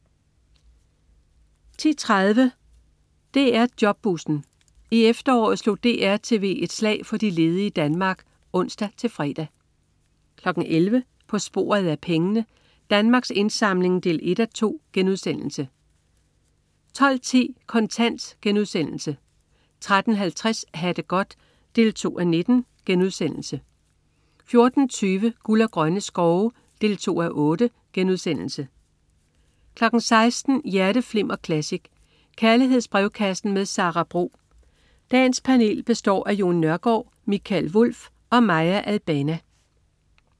10.30 DR Jobbussen. I efteråret slog DR-TV et slag for de ledige i Danmark (ons-fre) 11.00 På sporet af pengene. Danmarks Indsamling 1:2* 12.10 Kontant* 13.50 Ha' det godt 2:19* 14.20 Guld og grønne skove 2:8* 16.00 Hjerteflimmer Classic. Kærlighedsbrevkassen med Sara Bro. Dagens panel består af Jon Nørgaard, Michael Wulff og Maya Albana